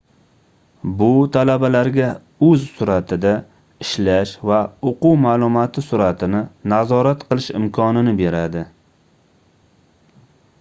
bu talabalarga oʻz surʼatida ishlash va oʻquv maʼlumoti surʼatini nazorat qilish imkonini beradi